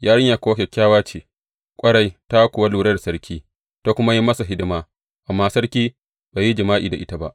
Yarinyar kuwa kyakkyawa ce ƙwarai; ta kuwa lura da sarki, ta kuma yi masa hidima, amma sarki bai yi jima’i da ita ba.